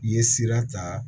Ye sira ta